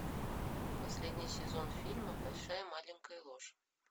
последний сезон фильма большая маленькая ложь